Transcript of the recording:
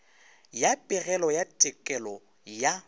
ya pegelo ya tekolo ya